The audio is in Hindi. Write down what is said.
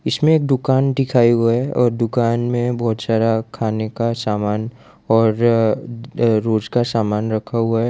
इसमें एक दुकान दिखाएं हुए हैं और दुकान में बहुत सारा खाने का सामान और अअ रोज का सामान रखा हुआ है।